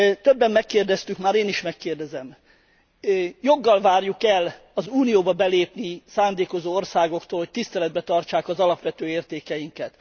Többen megkérdeztük már, én is megkérdezem joggal várjuk e el az Unióba belépni szándékozó országoktól, hogy tiszteletben tartsák az alapvető értékeinket?